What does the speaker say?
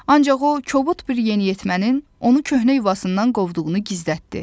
Ancaq o kobud bir yeniyetmənin onu köhnə yuvasından qovduğunu gizlətdi.